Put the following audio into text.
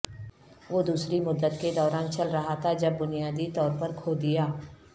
وہ دوسری مدت کے دوران چل رہا تھا جب بنیادی طور پر کھو دیا